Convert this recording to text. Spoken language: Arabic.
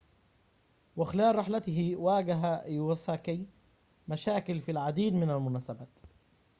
وخلال رحلته واجه إيواساكي مشاكل في العديد من المناسبات